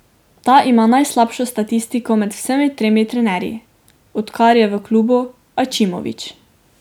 Ta ima najslabšo statistiko med vsemi tremi trenerji, od kar je v klubu Ačimović.